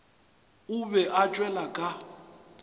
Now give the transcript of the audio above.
o be a tšwele ka